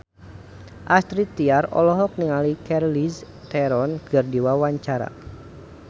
Astrid Tiar olohok ningali Charlize Theron keur diwawancara